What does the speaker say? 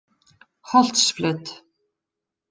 Holtsflöt